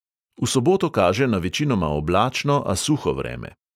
V soboto kaže na večinoma oblačno, a suho vreme.